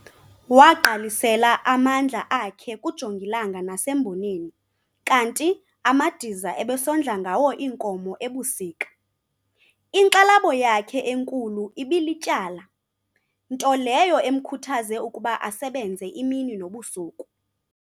Wagqalisela amandla akhe kujongilanga nasemboneni kanti amadiza ebesondla ngawo iinkomo ebusika. Inkxalabo yakhe enkulu ibilityala - nto leyo emkhuthaze ukuba asebenze imini nobusuku.